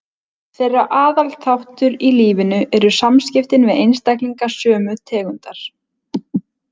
Þeirra aðal þáttur í lífinu eru samskiptin við einstaklinga sömu tegundar.